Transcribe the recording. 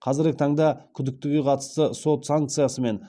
қазіргі таңда күдіктіге қатысты сот санкциясымен